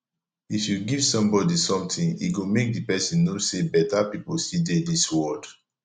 if you give somebody something e go make the person know say beta people still dey dis world